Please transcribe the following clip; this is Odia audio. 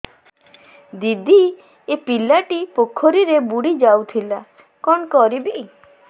ଦିଦି ଏ ପିଲାଟି ପୋଖରୀରେ ବୁଡ଼ି ଯାଉଥିଲା କଣ କରିବି